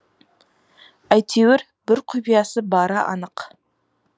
әйтеуір бір құпиясы бары анық